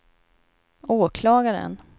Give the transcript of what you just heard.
åklagaren